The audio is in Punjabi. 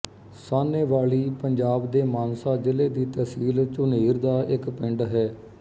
ਸਾਹਨੇਵਾਲੀ ਪੰਜਾਬ ਦੇ ਮਾਨਸਾ ਜ਼ਿਲ੍ਹੇ ਦੀ ਤਹਿਸੀਲ ਝੁਨੀਰ ਦਾ ਇੱਕ ਪਿੰਡ ਹੈ